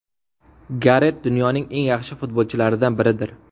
Garet dunyoning eng yaxshi futbolchilaridan biridir.